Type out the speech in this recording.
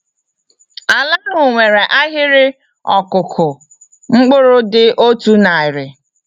Ala ahụ nwere ahịrị ọkụkụ mkpụrụ dị otu narị.